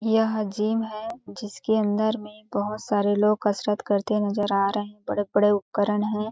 यह जीम है जिसके अंदर में बहुत सारे लोग कसरत करते नजर आ रहे हैं बड़े-बड़े उपकरण हैं --